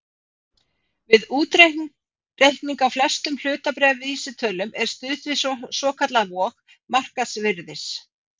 Við útreikning á flestum hlutabréfavísitölum er stuðst við svokallaða vog markaðsvirðis.